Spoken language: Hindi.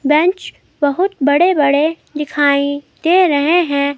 बेंच बहुत बड़े बड़े दिखाई दे रहे हैं।